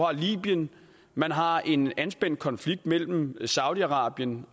har libyen man har en anspændt konflikt mellem saudi arabien